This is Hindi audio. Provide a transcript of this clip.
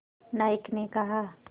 नायक ने कहा